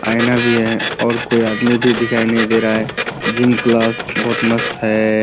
आईना भी हैं और कोई अदामी भी दिखाई नही दे रहा है जिम क्लास बहुत मस्त है।